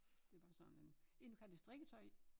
Det bare sådan en en du kan have dit strikketøj i